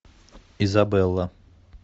изабелла